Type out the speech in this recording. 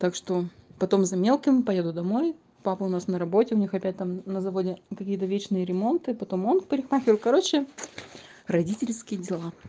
так что потом за мелким поеду домой папа у нас на работе у них опять там на заводе какие-то вечные ремонт и потом он в парикмахер короче родительские дела